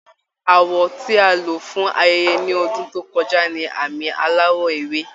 Àwọ̀ tí a lò fún ayẹyẹ ní ọdún tó kọjá ni àmì aláwọ̀ ewé